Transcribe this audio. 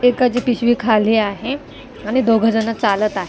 एकाची पिशवी खाली आहे आणि दोघजण चालत आहे.